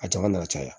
A jama na caya